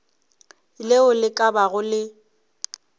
leo le ka bago le